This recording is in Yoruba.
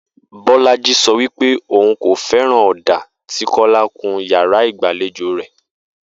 Bó̩lájí so̩ wípé òun kò fé̩ràn ò̩dà tí Kó̩lá kun yàrá ìgbàlejò rè